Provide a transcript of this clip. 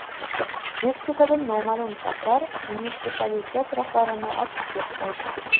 Meksikada noma’lum shaxslar munitsipalitet rahbarini otib ketdi.